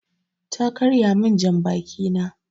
Ta karya min jan baki na